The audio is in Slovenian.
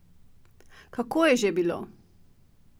Kako je že bilo?